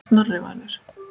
Snorri Valur.